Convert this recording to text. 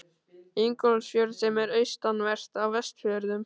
Ingólfsfjörð, sem er austanvert á Vestfjörðum.